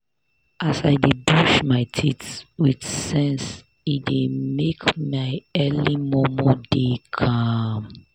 as i dey brush my teeth with sense e dey make my early momo dey calm.